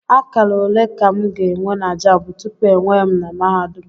Akara ole ka m ga-enwe na Jamb tupu ewee m na mahadum?